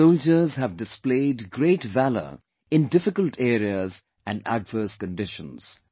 Our soldiers have displayed great valour in difficult areas and adverse conditions